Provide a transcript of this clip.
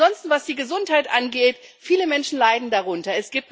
Ansonsten, was die Gesundheit angeht Viele Menschen leiden darunter.